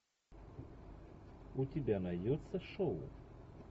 у тебя найдется шоу